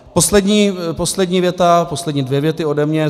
Poslední věta, poslední dvě věty ode mne.